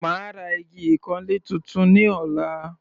Màá ra igi ìkanlé tuntun ní ọ̀la.